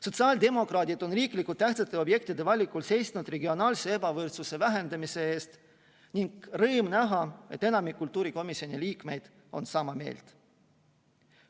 Sotsiaaldemokraadid on riiklikult tähtsate objektide valikul seisnud regionaalse ebavõrdsuse vähendamise eest ning rõõm näha, et enamik kultuurikomisjoni liikmeid on sama meelt.